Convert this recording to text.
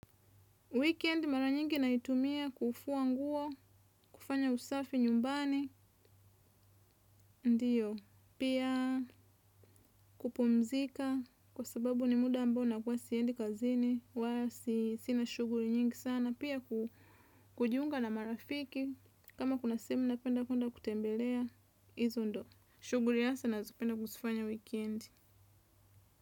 Weekend mara nyingi naitumia kufua nguo, kufanya usafi nyumbani, ndiyo, pia kupumzika, kwa sababu ni muda ambao nakuwa siendi kazini, wala sina shughuli nyingi sana, pia kujiunga na marafiki, kama kuna sehemu napenda kwenda kutembelea, izo ndo. Shughuli hasa nazopenda kuzifanya weekend.